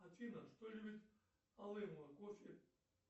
афина что любит алымова кофе